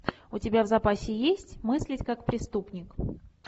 у тебя в запасе есть мыслить как преступник